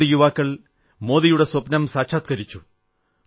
രണ്ടു യുവാക്കൾ മോദിയുടെ സ്വപ്നം സാക്ഷാത്കരിച്ചു